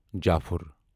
جافُر